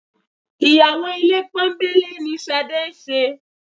Ìyàwó ilé pọ́nńbélé ni Ṣadé ń ṣe